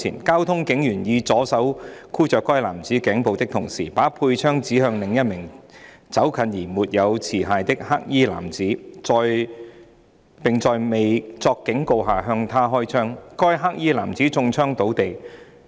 交通警員以左手箍着該男子頸部的同時，把佩槍指向另一名走近而沒有持械的黑衣男子，並在未作警告下向他開槍，該黑衣男子中槍倒地。